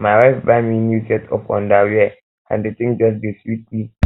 my wife buy me um new set of underwear and the thing just dey sweet sweet me